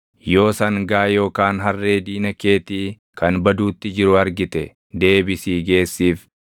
“Yoo sangaa yookaan harree diina keetii kan baduutti jiru argite deebisii geessiif.